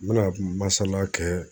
N mina masala kɛ